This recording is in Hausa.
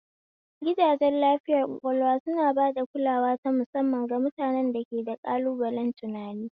Gidajen lafiyar ƙwaƙwalwa suna ba da kulawa ta musamman ga mutanen da ke da ƙalubalen tunani.